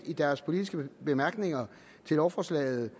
i deres politiske bemærkninger til lovforslaget